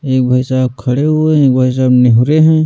एक भाई साहब खड़े हुए हैं एक भाई साहब निहूरे हैं।